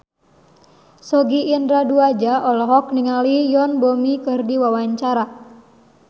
Sogi Indra Duaja olohok ningali Yoon Bomi keur diwawancara